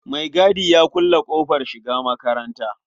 Maigadi ya kulle ƙofar shiga makatanta.